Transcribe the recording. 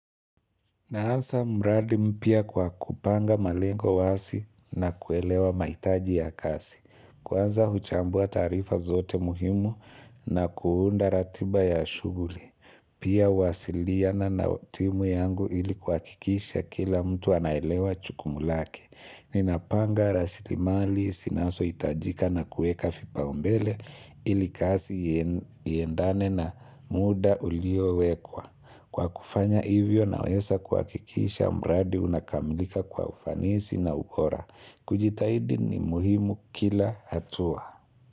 Naanza mradi mpya kwa kupanga malengo wazi na kuelewa maitaji ya kazi. Kwanza huchambua taarifa zote muhimu na kuunda ratiba ya shughuli. Pia uwasiliana na timu yangu ili kuakikisha kila mtu anaelewa jukumu lake. Ninapanga rasilimali zinazoitajika na kueka vimbao mbele ili kazi iendane na muda uliowekwa. Kwa kufanya hivyo na weza kuakikisha mradi unakamilika kwa ufanisi na ubora. Kujitahidi ni muhimu kila hatua.